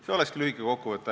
See olekski lühike kokkuvõte.